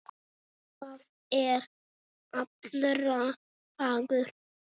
Það er allra hagur.